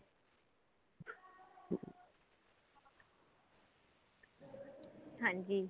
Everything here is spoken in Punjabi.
ਹਾਂਜੀ